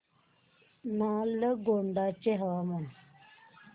नालगोंडा चे हवामान